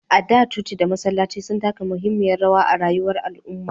A da, coci da masallatai sun taka muhimmiyar rawa a rayuwar al'umma.